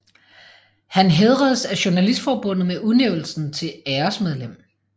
Han hædredes af journalistforbundet med udnævnelsen til æresmedlem